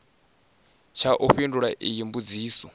tsha u fhindula iyi mbudziso